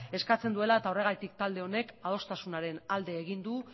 eskatzen duela eta horregatik talde honek adostasunaren alde egin du